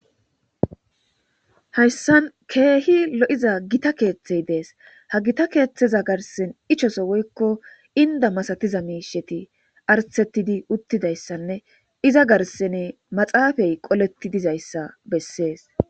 Hayssan keehi lo'iza gita keeththey dees ha gita keeththeza garsen ichoso woykko inda masatiza miisheti artettidi uttidayssanne iza garsene maxaafay qoletti dizayssa bessees.